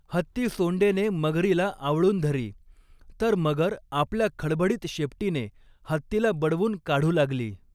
हत्ती सोंडेने मगरीला आवळून धरी, तर मगर आपल्या खडबडीत शेपटीने हत्तीला बडवून काढू लागली.